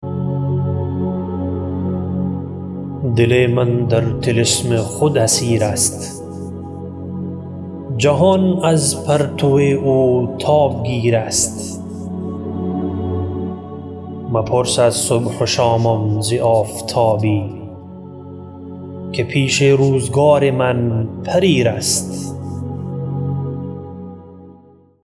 دل من در طلسم خود اسیر است جهان از پرتو او تاب گیر است مپرس از صبح و شامم ز آفتابی که پیش روزگار من پریر است